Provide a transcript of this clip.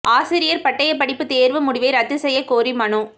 ஆசிரியா் பட்டயப் படிப்பு தோ்வு முடிவை ரத்து செய்யக் கோரி மனு